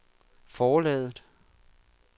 forlaget